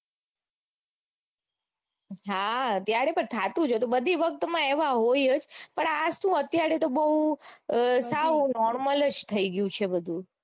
હા ત્યારે પણ થતું જ હતું બધી વક્ત માં એવા હોય જ પણ આ સુ અત્યારે તો બૌ સાવ normal જ થઇ ગયું છે બધું